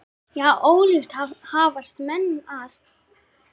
Já, ólíkt hafast menn að.